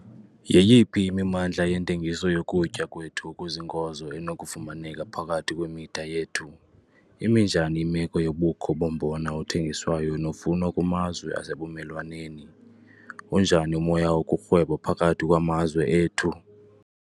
Yeyiphi imimandla yentengiso yokutya kwethu okuziinkozo enokufumaneka phakathi kwemida yethu? Imi njani imeko yobukho bombona othengiswayo nofunwa kumazwe asebumelwaneni? Unjani umoya wokurhweba phakathi kwamazwe ethu?